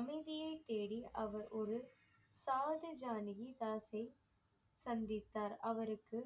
அமைதியைத் தேடி அவர் ஒரு சாதி ஜானகி தாசை சந்தித்தார் அவருக்கு